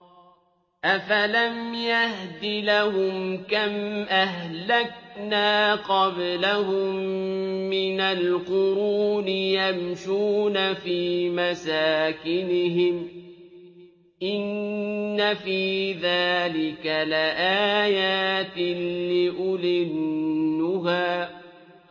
أَفَلَمْ يَهْدِ لَهُمْ كَمْ أَهْلَكْنَا قَبْلَهُم مِّنَ الْقُرُونِ يَمْشُونَ فِي مَسَاكِنِهِمْ ۗ إِنَّ فِي ذَٰلِكَ لَآيَاتٍ لِّأُولِي النُّهَىٰ